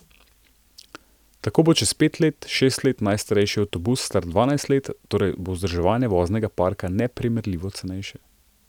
Tako bo čez pet, šest let najstarejši avtobus star dvanajst let, torej bo vzdrževanje voznega parka neprimerljivo cenejše.